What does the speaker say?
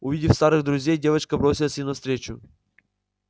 увидев старых друзей девочка бросилась им навстречу